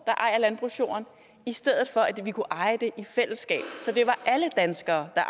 der ejer landbrugsjorden i stedet for at vi kunne eje den i fællesskab så det var alle danskere der